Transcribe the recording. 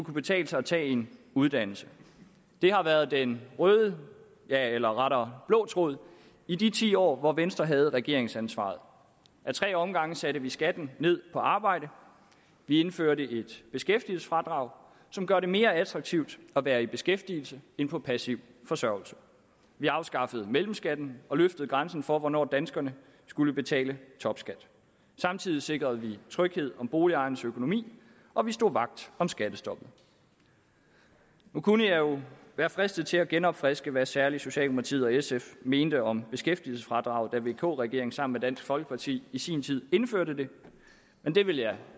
betale sig at tage en uddannelse det har været den røde eller rettere blå tråd i de ti år hvor venstre havde regeringsansvaret af tre omgange satte vi skatten ned på arbejde vi indførte et beskæftigelsesfradrag som gør det mere attraktivt at være i beskæftigelse end på passiv forsørgelse vi afskaffede mellemskatten og løftede grænsen for hvornår danskerne skulle betale topskat samtidig sikrede vi tryghed om boligejernes økonomi og vi stod vagt om skattestoppet nu kunne jeg være fristet til at genopfriske hvad særlig socialdemokratiet og sf mente om beskæftigelsesfradraget da vk regeringen sammen med dansk folkeparti i sin tid indførte det men det vil jeg